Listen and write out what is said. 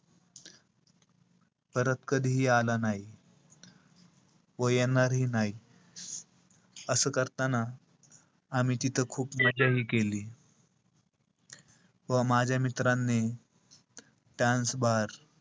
परत कधीही आला नाही. व येणारही नाही. असं करताना आम्ही तिथं खूप मजाही केली. व माझ्या मित्रांनी dance bar,